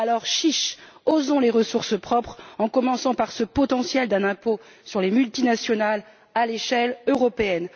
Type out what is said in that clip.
Alors, chiche! Osons les ressources propres, en commençant par ce potentiel d'un impôt sur les multinationales à l'échelle européenne.